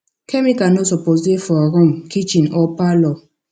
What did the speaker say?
chemical no suppose dey for room kitchen or parlor